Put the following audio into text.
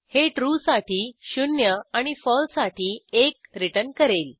हे ट्रू साठी 0 शून्य आणि फळसे साठी 1 एक रिटर्न करेल